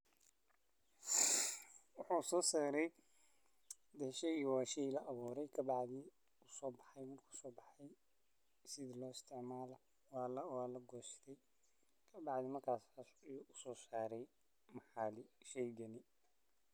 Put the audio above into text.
Waxuu soo saray ,horta sheygan waa shey la awuuray ka bacdi uu soo baxay markuu soo baxay si loo isticmaalo waa la goostay ka bacdi markaas caadi loo soo saray sheygan .